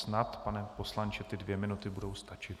Snad, pane poslanče, ty dvě minuty budou stačit.